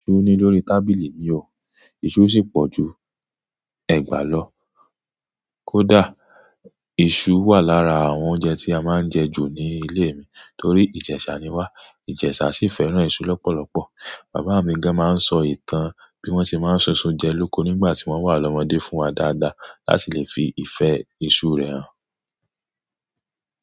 Oni lórí tábìlì mi o, iṣu sì pọ̀ ju ẹ̀gbá lọ. Kódà, iṣu wà lára àwọn oúnjẹ tí a máa ń jẹ ju ní ilé mi torí ìjẹṣà ni wá. Ìjẹṣà sì fẹ́ràn iṣu lọ́pọ̀lọpọ̀. Bàbá à mi gan máa ń sọ ìtàn bí wọ́n ṣe máa ń ṣun isu jẹ lóko nígbà tí wọ́n wà lọ́mọdé fún wa dáadáa láti lè fi ìfẹ́ iṣu rẹ hàn.